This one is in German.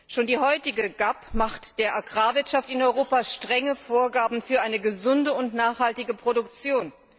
Schon die heutige GAP macht der Agrarwirtschaft in Europa strenge Vorgaben für eine gesunde und nachhaltige Produktion.